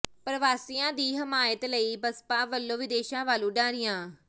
ਪਰਵਾਸੀਆਂ ਦੀ ਹਮਾਇਤ ਲਈ ਬਸਪਾ ਵੱਲੋਂ ਵਿਦੇਸ਼ਾਂ ਵੱਲ ਉਡਾਰੀਆਂ